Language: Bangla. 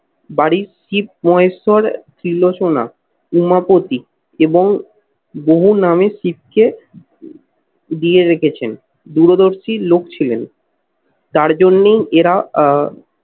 বাড়ি শিব, মহেশ্বর, তিলোসনা, উমাপতি এবং বহু নামে শিখছে দিয়ে রেখেছেন। দূরদর্শী লোক ছিলেন তার জন্যই এরা আহ